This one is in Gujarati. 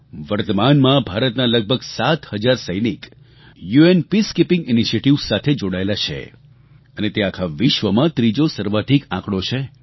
વર્તમાનમાં ભારતના લગભગ સાત હજાર સૈનિક યુએન પીસકીપિંગ ઇનિશિયેટિવ્સ સાથે જોડાયેલા છે અને તે આખા વિશ્વમાં ત્રીજો સર્વાધિક આંકડો છે